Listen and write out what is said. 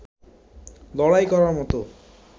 লড়াই করার মতো